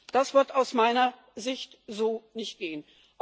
Das wird aus meiner Sicht so nicht gehen.